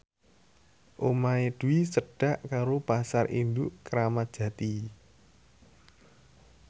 omahe Dwi cedhak karo Pasar Induk Kramat Jati